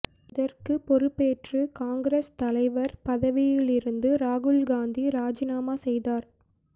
இதற்குப் பொறுப்பேற்று காங்கிரஸ் தலைவர் பதவிலிருந்து ராகுல் காந்தி ராஜினாமா செய்தார்